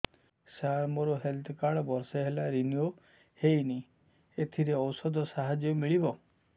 ସାର ମୋର health card ବର୍ଷେ ହେଲା ରିନିଓ ହେଇନି ଏଥିରେ ଔଷଧ ସାହାଯ୍ୟ ମିଳିବ